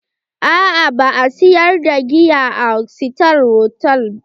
Aa ba a siyar da giya a sitar hotal.